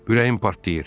Ürəyim partlayır.